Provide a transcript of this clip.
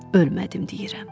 Ölmədim deyirəm.